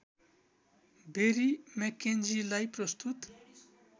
बेरी मेक्केन्जीलाई प्रस्तुत